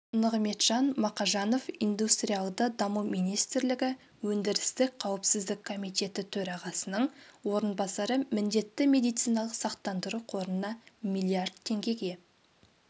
нығметжан мақажанов индустриалды даму министрлігі өндірістік қауіпсіздік комитеті төрағасының орынбасары міндетті медициналық сақтандыру қорына миллиард теңгеге